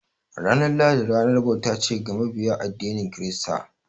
Ranar lahadi ranar bauta ce ga mabiya addinin kirista.